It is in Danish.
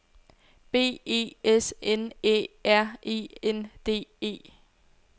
B E S N Æ R E N D E